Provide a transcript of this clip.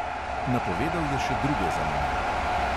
Napovedal je še druge zamenjave.